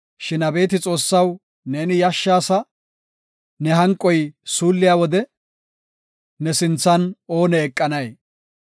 Shin abeeti Xoossaw, neeni yashshaasa; ne hanqoy suulliya wode, ne sinthan oone eqanay?